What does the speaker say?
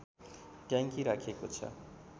ट्याङ्की राखिएको छ